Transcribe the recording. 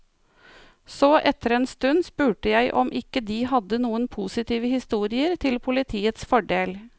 Så etter en stund spurte jeg om ikke de hadde noen positive historier, til politiets fordel.